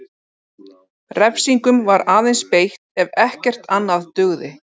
Refsingum var aðeins beitt ef ekkert annað dugði.